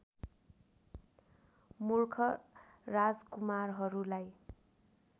मूर्ख राजकुमारहरूलाई